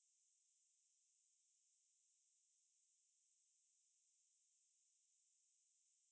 ಹ್ಮ್ bye .